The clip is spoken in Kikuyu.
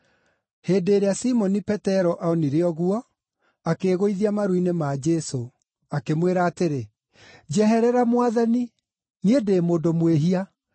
Hĩndĩ ĩrĩa Simoni Petero onire ũguo, akĩĩgũithia maru-inĩ ma Jesũ, akĩmwĩra atĩrĩ, “Njeherera Mwathani; niĩ ndĩ mũndũ mwĩhia!”